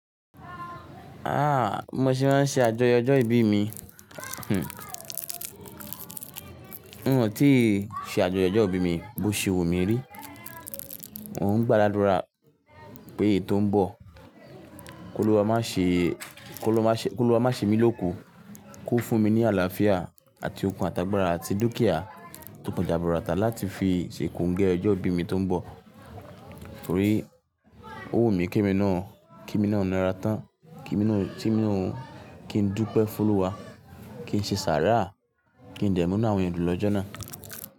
Ah! Bi mo se máa ṣe àjọyọ̀ ọjọ́ ìbí mi, hhn, n o tíi ṣe àjọyọ̀ ọjọ́ ìbí mi, bó ṣe wù mí rí. Mo ń gbá la dúrà pé eyi to ń bọ̀, kó Olúwa má ṣe mí lóku, kó fún mi ní àlàáfíà àti okun àtàgbàrà àti dúkìá tó po jaburata láti fi ṣe kongẹ́ ọjọ́ ìbí mi tó ń bọ̀. Torí ó wù mí kí emi náà, kí emi náà ńa ra tán, kí emi náà, t'emí naa, kí n dúpẹ́ fún Olúwa, kí n ṣe sàárà, kí n dẹ̀mú inu àwọn èeyàn dun lọ́jọ́ náà.